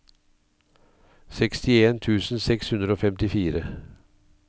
sekstien tusen seks hundre og femtifire